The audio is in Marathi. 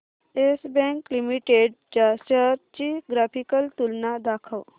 येस बँक लिमिटेड च्या शेअर्स ची ग्राफिकल तुलना दाखव